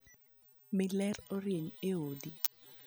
Mi ler orieny e odni.